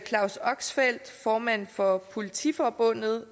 claus oxfeldt formand for politiforbundet